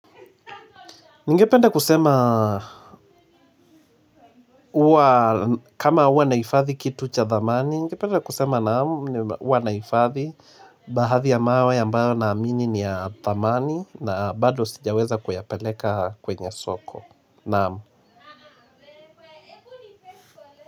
Ningependa kusema huwa kama huwa nahifadhi kitu cha dhamani, ningependa kusema naam baadhi ya mawe naamini ni ya dhamani na bado sijaweza kuyapeleka kwenye soko naam.